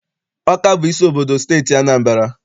Ọka bụ isi obodo nke Steeti Anambra.